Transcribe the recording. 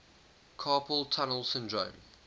carpal tunnel syndrome